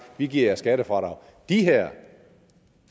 vi giver jer skattefradrag de her